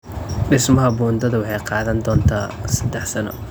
Dhismaha buundada waxay qaadan doontaa saddex sano.